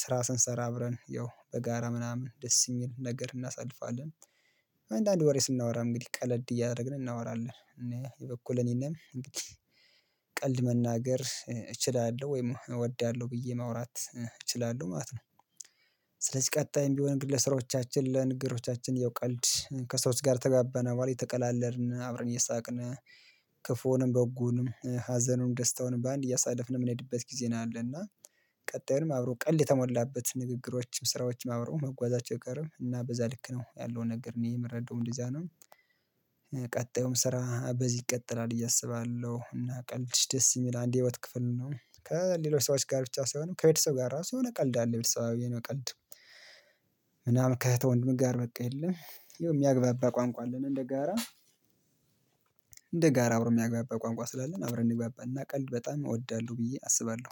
ስራ ስንሰራ አብረን ያው በጋራ ምናምን ደስ ይልን ነገር እናሳልፋለን። አንዳንድ ወሬ ስናወራ እንግዲህ ቀለድ እያደረግን እናወራለን እና የበኩል እኔንም እንግዲህ ቀልድ መናገር እችላለሁ ወይም እወዳለሁ ብዬ ማውራት ይችላለሁ ማለት ነው። ስለዚህ ቀጣይም ቢሆን ግን ለስራዎቻችን ለንግሮቻችን ይው ቀልድ ከስሮች ጋር ተጋበነ በኋላ የተቀላለርን አብረን የሳቅነን። ክፉንም በጎንም ሀዘኑንም ደስታውንም በአንድ እያሳለፍን የምንሄድበት ጊዜ ነው ያለና። ቀጣዩንም አብሮ ቀልድ የተሞላበት ንግግሮችም ስራዎችም አብረው መጓዛቸው ይቀርም እና በዛ ልክ ነው ያለውን ነገር እኔ የምረዳው እንደዚህ አይነት። ቀጣዩም ስራ በዚህ ይቀጥላል ብዬ እያሰባለሁ እና ቀልድሽ ደስ ይል አንድ የህይወት ክፍል ነው። ከሌሎች ሰዎች ጋር ብቻ ሳይሆን ከቤተሰብ ጋር ራሱ የሆነ ቀልድ አለ። ቤተሰብዊ የሆነ ቀልድ። ምናምን ከእህተ ወንድም ጋር በቃ የለም የሚያግባባ ቋንቋ አለን እንደጋራ። እንደጋራ አብሮ የሚያግባባ ቋንቋ ስላለን አብረን እንዲግባባና ቀልድ በጣም እወዳለሁ ብዬ አስባለሁ